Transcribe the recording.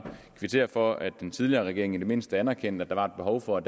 kvittere for at den tidligere regering i det mindste anerkendte at der var behov for